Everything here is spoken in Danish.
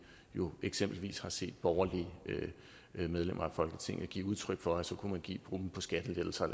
jo eksempelvis har set borgerlige medlemmer af folketinget give udtryk for at så kunne give dem ud på skattelettelser